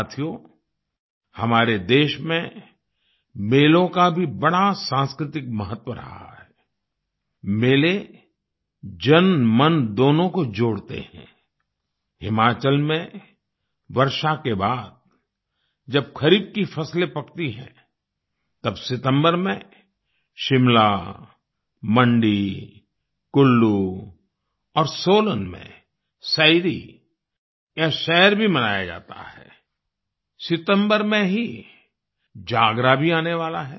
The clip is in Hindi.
साथियो हमारे देश में मेलों का भी बड़ा सांस्कृतिक महत्व रहा है आई मेले जनमन दोनों को जोड़ते हैं आई हिमाचल में वर्षा के बाद जब खरीफ की फसलें पकती हैं तब सितम्बर में शिमला मंडी कुल्लू और सोलन में सैरी या सैर भी मनाया जाता है आई सितंबर में ही जागरा भी आने वाला है